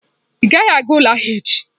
Ị gaghị aga ụlọ ahịa echi!